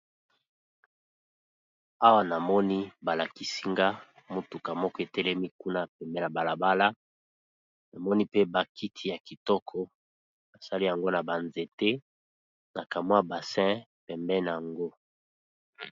Awa namoni balakisi nga ! motuka moko Etelemi kuna pembeni ya balabala na moni pe bakiti ya kitoko, basali yango na ba nzete na kamwa bassin pembeni na yango.